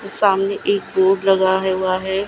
सामने एक बोर्ड लगा है हुआ है।